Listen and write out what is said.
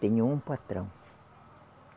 Tenho um patrão.